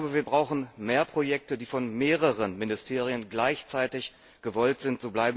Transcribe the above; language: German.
Wir brauchen mehr Projekte, die von mehreren Ministerien gleichzeitig gewollt sind.